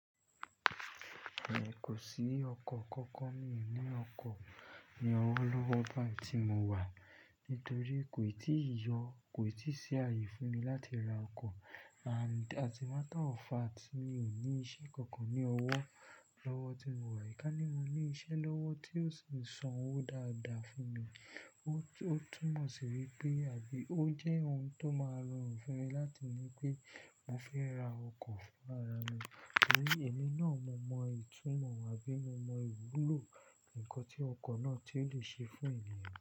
Èmi kò sí ọkọ̀ kankan, mi kò ní ọkọ̀ ni ọwọ́ lọ́wọ́ bá ti mo wà nítorí kò tí ì yọ, kò tí sì àyè fún mi láti ra ọkọ̀ and as a matter of fact mi ò ní iṣẹ́ kankan ní ọwọ́ lọ́wọ́ tí mo wà. Ká ní mo ní iṣẹ́ lọ́wọ́ tí yóò sì san owó dáadáa fún mi, ó túmọ̀ sí wípé àbí ó jẹ́ ohun tó máa rọrùn fún mi láti ní pé mò fẹ́ ra ọkọ̀ fún ara mi torí èmi náà mọ mọ ìtúmọ̀ wá bí mo mọ ìwúlò ǹkan tí ọkọ̀ náà tí ó lè ṣe fún ènìyàn.